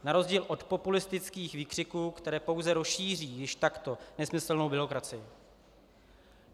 Na rozdíl od populistických výkřiků, které pouze rozšíří již takto nesmyslnou byrokracii.